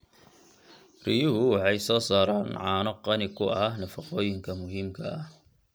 Riyuhu waxay soo saaraan caano qani ku ah nafaqooyinka muhiimka ah.